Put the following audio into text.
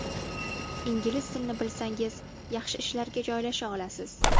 Ingliz tilini bilsangiz yaxshi ishlarga joylasha olasiz.